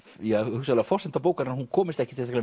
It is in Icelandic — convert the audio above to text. hugsanlega forsenda bókarinnar hún komist ekkert